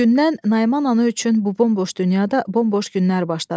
O gündən Naiman ana üçün bu bomboş dünyada bomboş günlər başladı.